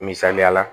Misaliyala